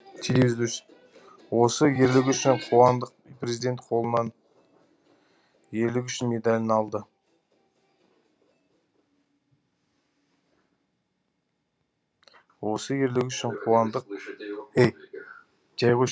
осы ерлігі үшін қуандық президент қолынан ерлігі үшін медалін алды